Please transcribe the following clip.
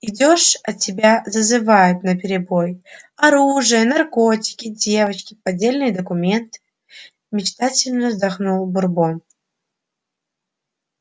идёшь а тебя зазывают наперебой оружие наркотики девочки поддельные документы мечтательно вздохнул бурбон